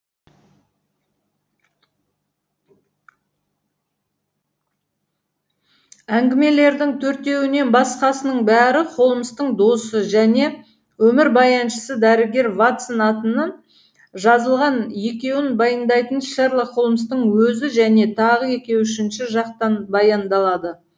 әңгімелердің төртеуінен басқасының бәрі холмстың досы және өмірбаяншысы дәрігер ватсон атынан жазылған екеуін баяндайтын шерлок холмстың өзі және тағы екеуі үшінші жақтан баяндалады